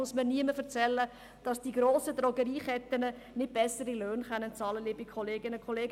Da muss mir niemand sagen, dass die grossen Drogerieketten nicht bessere Löhne bezahlen können, liebe Kolleginnen und Kollegen.